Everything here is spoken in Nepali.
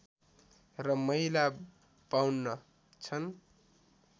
र महिला ५२ छन्